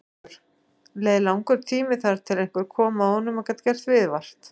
Haukur: Leið langur tími þar til að einhver koma að honum og gat gert viðvart?